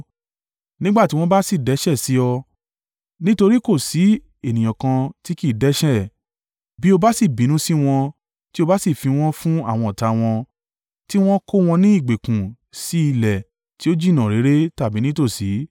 “Nígbà tí wọ́n bá sì dẹ́ṣẹ̀ sí ọ—nítorí kò sí ènìyàn kan tí kì í dẹ́ṣẹ̀—bí o bá sì bínú sí wọn tí o bá sì fi wọ́n fún àwọn ọ̀tá, tí wọ́n kó wọn ní ìgbèkùn sí ilẹ̀ tí ó jìnnà réré tàbí nítòsí,